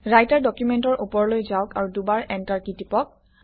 writer ডকুমেণ্টৰ ওপৰলৈ যাওক আৰু দুবাৰ এণ্টাৰ কী টিপক